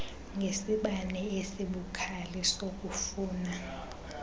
ngesibane esibukhali sokufuna